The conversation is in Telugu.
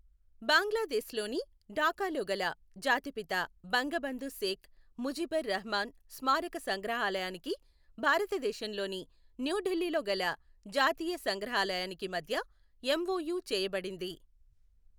బాంగ్లాదేశ్ లోని ఢాకాలోగల జాతిపిత బంగబంధు శేఖ్ ముజిబుర్ రహమాన్ స్మారక సంగ్రహాలయానికి, భారతదేశంలోని న్యూ ఢిల్లీలోగల జాతీయ సంగ్రహాలయానికి మధ్య ఎమ్ఒయు చేయబడింది.